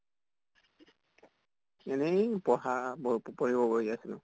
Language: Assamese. এনেই পঢ়া পঢ়িব বহি আছিলো।